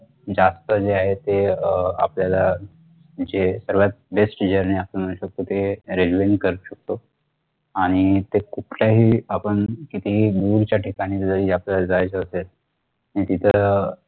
जास्त जे आहे ते अह आपल्याला जे सर्वात best journey आपण करू शकतो ते railway ने करू शकतो आणि ते कुठल्याही आपण कितीही दूरच्या ठिकाणी जरी आपल्यला जायचा असेल नि तिथं